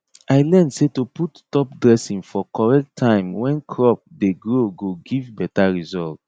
i learn say to put top dressing for correct time when crop dey grow go give better result